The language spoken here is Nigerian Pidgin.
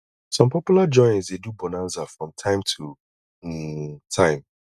some popular joints de do bonaza from time to um time